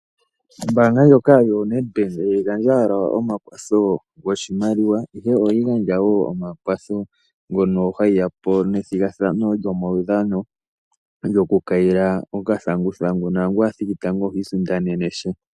Ombaanga ndjoka yoNedbank ihayi gandja owala omakwatho goshimaliwa ihe ohayi gandja omakwatho mono hayi yapo nomathigathano gomaudhano gokukayila okathanguthangu naangu a thiki tango ohi isindanena sha.